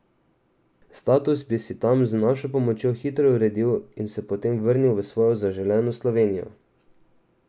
Status bi si tam z našo pomočjo hitro uredil in se potem vrnil v svojo zaželeno Slovenijo.